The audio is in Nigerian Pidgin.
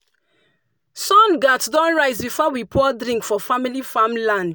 sun gats don rise before we pour drink for family farmland.